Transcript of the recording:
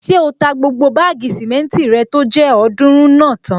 Ṣé o ta gbogbo báàgì sìmẹ́ntì rẹ tó jẹ́ ọ̀ọ́dúrún náà tán?